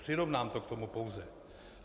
Přirovnám to k tomu pouze.